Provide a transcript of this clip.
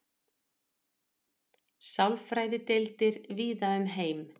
sálfræðideildir víða um heim